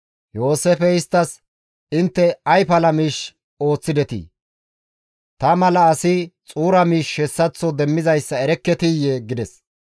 Yooseefey isttas, «Intte ay pala miish ooththidetii? Ta mala asi xuura miishshi hessaththo demmizayssa erekketiyee?» gides.